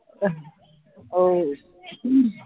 अह हो